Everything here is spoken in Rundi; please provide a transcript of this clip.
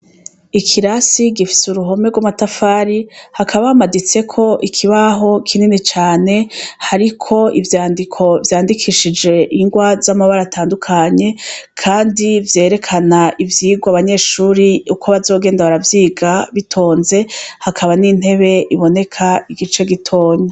Ikirasi gifite uruhome rw'amatafari hakaba hamaditse ko ikibaho kinini cane hariko ivyandiko vyandikishije ingwa z'amabara atandukanye kandi vyerekana ivyigwa abanyeshuri uko bazogenda baravyiga bitonze hakaba n'intebe iboneka igice gitonya.